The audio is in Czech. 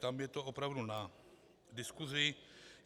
Tam je to opravdu na diskusi.